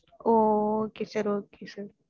oh okay sir okay sir